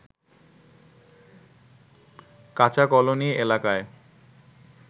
কাচা কলোনী এলাকায়